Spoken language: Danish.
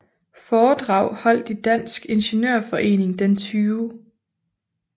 Foredrag holdt i Dansk Ingeniørforening den 20